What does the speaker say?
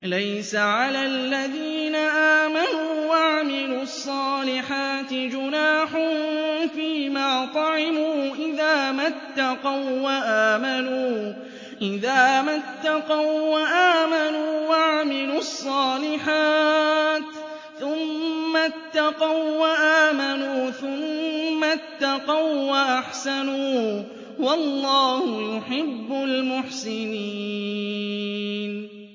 لَيْسَ عَلَى الَّذِينَ آمَنُوا وَعَمِلُوا الصَّالِحَاتِ جُنَاحٌ فِيمَا طَعِمُوا إِذَا مَا اتَّقَوا وَّآمَنُوا وَعَمِلُوا الصَّالِحَاتِ ثُمَّ اتَّقَوا وَّآمَنُوا ثُمَّ اتَّقَوا وَّأَحْسَنُوا ۗ وَاللَّهُ يُحِبُّ الْمُحْسِنِينَ